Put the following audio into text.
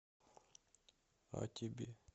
а тебе